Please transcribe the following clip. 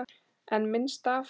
En minnst af?